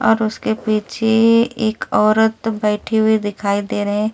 और उसके पीछे एक औरत बैठी हुई दिखाई दे रही है इसके।